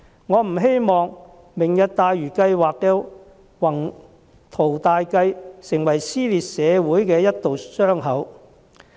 我不希望"明日大嶼"計劃的宏圖大計在社會撕裂出一道傷口。